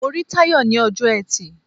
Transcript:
Mo rí Táyọ̀ ní ọjọ́ Ẹtì.